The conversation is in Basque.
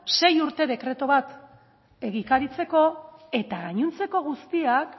sei urte dekretu bat egikaritzeko eta gainontzeko guztiak